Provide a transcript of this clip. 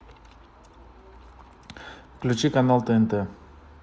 включи канал тнт